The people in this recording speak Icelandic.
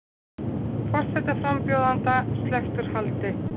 Forsetaframbjóðanda sleppt úr haldi